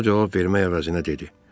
O cavab vermək əvəzinə dedi: